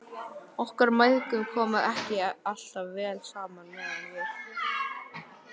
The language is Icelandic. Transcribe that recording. Okkur mæðgum kom ekki alltaf vel saman meðan við